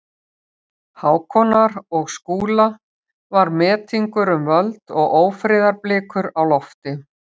Hákonar og Skúla var metingur um völd og ófriðarblikur á lofti.